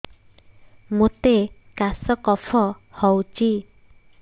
ମୋତେ କାଶ କଫ ହଉଚି